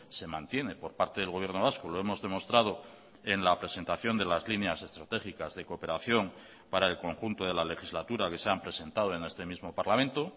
se mantiene por parte del gobierno vasco lo hemos demostrado en la presentación de las líneas estratégicas de cooperación para el conjunto de la legislatura que se han presentado en este mismo parlamento